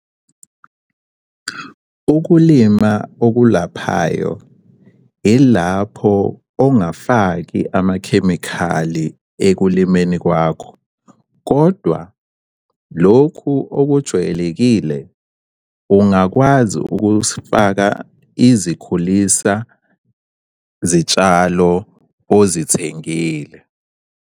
Ukulima okulaphayo ilapho ongafaki amakhemikhali ekulimeni kwakho, kodwa lokhu okujwayelekile kungakwazi ukufaka izikhulisa zitshalo ozithengile.